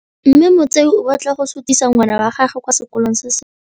Mme Motsei o batla go sutisa ngwana wa gagwe kwa sekolong se sengwe.